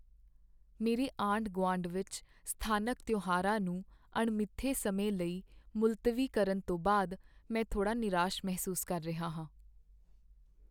ਮੇਰੇ ਆਂਢ ਗੁਆਂਢ ਵਿੱਚ ਸਥਾਨਕ ਤਿਉਹਾਰਾਂ ਨੂੰ ਅਣਮਿੱਥੇ ਸਮੇਂ ਲਈ ਮੁਲਤਵੀ ਕਰਨ ਤੋਂ ਬਾਅਦ ਮੈਂ ਥੋੜ੍ਹਾ ਨਿਰਾਸ਼ ਮਹਿਸੂਸ ਕਰ ਰਿਹਾ ਹਾਂ